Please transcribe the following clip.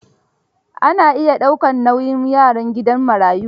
Ana iya daukar nauyin yaran gidan marayu.